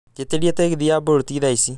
njĩitĩria tegithi ya bolt thaa ici